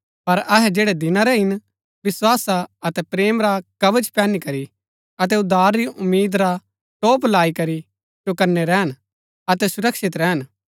पर अहै जैड़ै दिना रै हिन विस्‍वासा अतै प्रेम रा कवच पैहनी करी अतै उद्धार री उम्मीद रा टोप लाई करी चौकनै रैहन अतै सुरक्षित रैहन